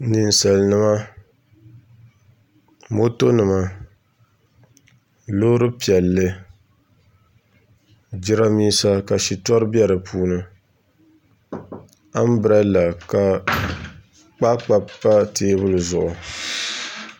Ninsalnima moto nima loori piɛlli jiranbiisa ka shitori bɛ di puuni anbirɛla ka kpaakpa pa teebuli zuɣu